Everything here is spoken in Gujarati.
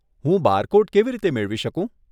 હું બારકોડ કેવી રીતે મેળવી શકું?